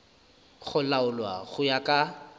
go laolwa go ya ka